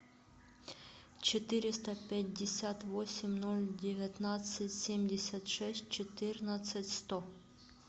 четыреста пятьдесят восемь ноль девятнадцать семьдесят шесть четырнадцать сто